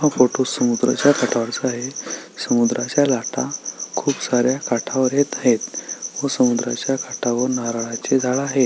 हा फोटो समुद्राच्या काठावरचा आहे समुद्राच्या लाटा खूप साऱ्या काठावर येत आहेतव समुद्राच्या काठावर नारळाची झाड आहेत.